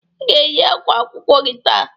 I ga eyi akwa akwụkwọ gị taa!